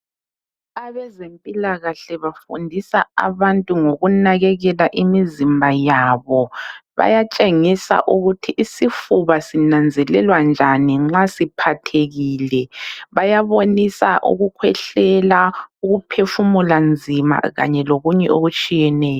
Abezempilakahle ,bafundisa abantu ngokunakekela imizimba yabo. Bayatshengisa ukuthi isifuba sinanzelelwa njani nxa siphathekile .Bayabonisa ukukhwehlela ,ukuphefumula nzima kanye lokunye okutshiyeneyo.